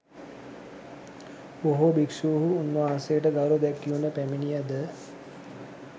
බොහෝ භික්ෂුහු උන්වහන්සේට ගෞරව දැක්වීමට පැමිණියද